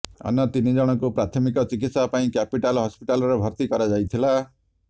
ଅନ୍ୟ ତିନିଜଣଙ୍କୁ ପ୍ରାଥମିକ ଚିକିତ୍ସା ପାଇଁ କ୍ୟାପିଟାଲ ହସ୍ପିଟାଲରେ ଭତ୍ତି କରାଯାଇଥିଲା